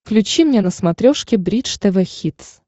включи мне на смотрешке бридж тв хитс